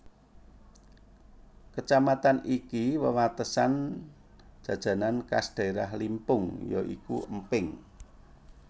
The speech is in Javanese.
Kacamatan iki wewatesan Jajanan khas daerah Limpung ya iku Emping